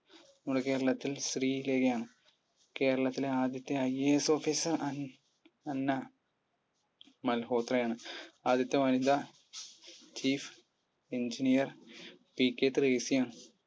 നമ്മുടെ കേരളത്തിൽ ശ്രീരേഖയാണ് കേരളത്തിലെ ആദ്യത്തെ IAS officer അന്ന അന്ന മൽഹോത്രയാണ് ആദ്യത്തെ വനിതാ chief engineer PK ത്രേസ്സ്യയാണ്